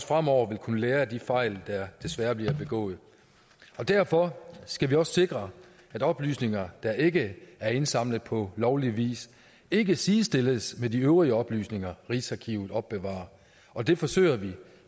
fremover vil kunne lære af de fejl der desværre bliver begået derfor skal vi også sikre at oplysninger der ikke er indsamlet på lovlig vis ikke sidestilles med de øvrige oplysninger rigsarkivet opbevarer og det forsøger vi